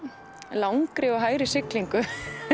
langri og hægri siglingu